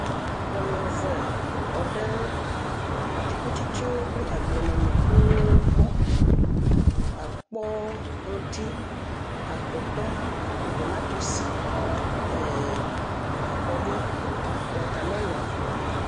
Nyɔnuvetɔ ɖe atikutstsewo kple agblemenukuwo gbɔ. Akpɔ ŋtsi, atɔtɔ, tomatosi, eee.. akɔɖu, watamelɔ.